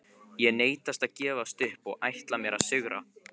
Ég neita að gefast upp og ætla mér að sigra.